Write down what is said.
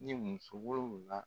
Ni muso wolonwula.